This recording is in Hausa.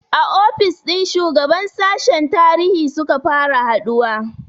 A ofis ɗin shugaban sashen tarihi suka fara haɗuwa